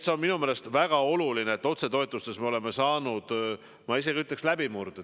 See on minu meelest väga oluline, et otsetoetustes me oleme saanud, ma isegi ütleks, läbimurde.